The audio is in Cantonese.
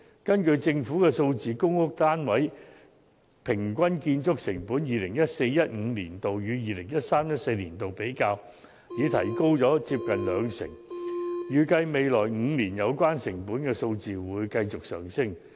根據政府的數字，就公屋單位的平均建築成本而言，比較 2014-2015 年度與 2013-2014 年度便已增加接近兩成，預計未來5年有關成本數字會繼續上升。